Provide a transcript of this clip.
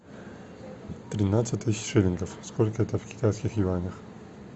тринадцать тысяч шиллингов сколько это в китайских юанях